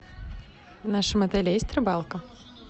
в нашем отеле есть рыбалка